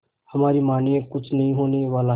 हमारी मानिए कुछ नहीं होने वाला है